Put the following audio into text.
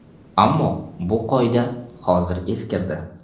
Ammo bu qoida hozir eskirdi.